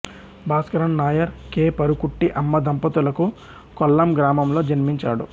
Bhaskaran Nair K Parukutty Amma దంపతులకు కొల్లాం గ్రామంలో జన్మించాడు